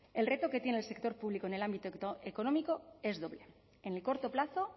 el reto que tiene el sector público en el ámbito económico es doble en el corto plazo